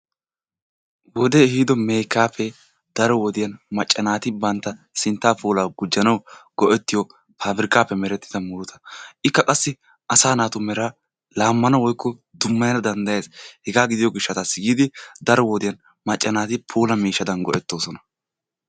Wodde ehiddo meekkappe daro wodiyaan macca naati bantta sintta puulla quccanawu go'ettiyo papirkkappe merettidda murutta. Ikka qassi asa naatu meraa laamana woykko dummayana danddes. Heggaa gidiyoo gishshattasi yiidi macca naati puulla miishshaddan go'ettossona.